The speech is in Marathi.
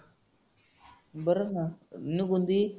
बरं ना